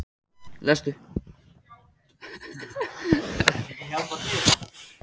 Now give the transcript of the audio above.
Eitthvað fer lönd og leið